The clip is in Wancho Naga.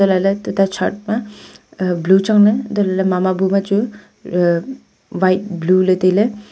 lele tete chhat ma blue chang le mama bu ma chu white blue taile.